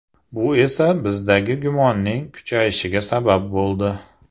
Bu esa bizdagi gumonning kuchayishiga sabab bo‘ldi.